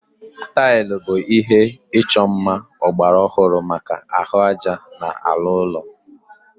Taịlị bụ ihé ịchọ mma ọgbara ọhụrụ maka ahụ ájá na ala ụlọ